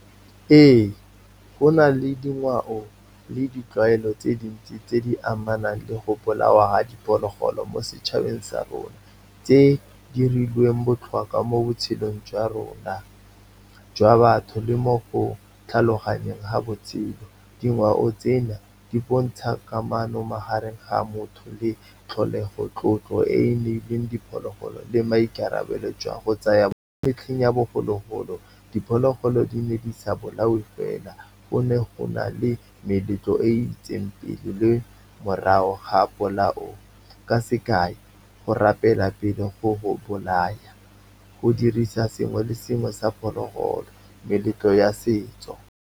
Ee, go na le dingwao le ditlwaelo tse dintsi tse di amanang le go bolawa ga diphologolo mo setšhabeng sa rona, tse di dirilweng botlhokwa mo botshelong jwa rona jwa batho le mo tlhaloganyeng ga botshelo. Dingwao tsena di bontsha kamano magareng ga motho le tlholego, tlotlo e e neilweng diphologolo le maikarabelo jwa go tsaya. Mo metlheng ya bogologolo, diphologolo di ne di sa bolao fela, go ne go na le meletlo e itseng pele le morago ga polao. Ka sekae, go rapela pele go bolaya, go dirisa sengwe le sengwe sa phologolo, meletlo ya setso.